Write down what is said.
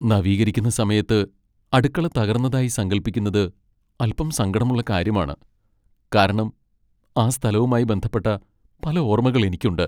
നവീകരിക്കുന്ന സമയത്ത് അടുക്കള തകർന്നതായി സങ്കൽപ്പിക്കുന്നത് അൽപ്പം സങ്കടമുള്ള കാര്യമാണ്, കാരണം ആ സ്ഥലവുമായി ബന്ധപ്പെട്ട പല ഓർമ്മകൾ എനിക്കുണ്ട്.